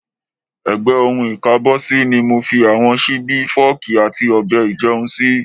Ẹ̀gbẹ́ ohun ìkábọ́sí ni mo fi mi àwọn ṣíbí, fọ́ọ̀kì àti ọ̀bẹ ìjẹun sí.